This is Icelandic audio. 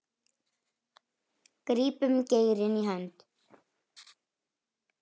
grípum geirinn í hönd